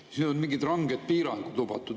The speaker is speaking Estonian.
Siis ei olnud mingid ranged piirangud lubatud.